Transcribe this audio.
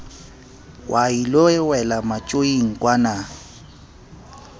wa ilo wela matjoing kwana